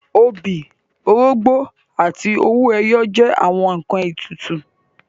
Obì, orógbó àti owó ẹyọ jẹ́ àwọn ǹkan ètùtù